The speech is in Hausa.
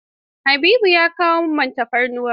Habibu ya kawo ma man tafarnuwar?